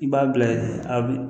I b'a bila a b'i